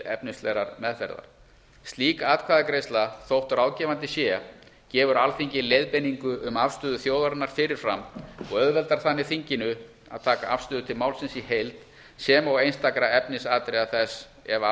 efnislegrar meðferðar slík atkvæðagreiðsla þótt ráðgefandi sé gefur alþingi leiðbeiningu um afstöðu þjóðarinnar fyrir fram og auðveldar þannig þinginu að taka afstöðu til málsins í heild sem og einstakra efnisatriða þess ef af